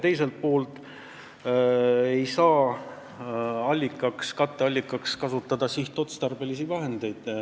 Teiselt poolt ei saa katteallikana kasutada sihtotstarbelisi vahendeid.